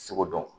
Seko dɔn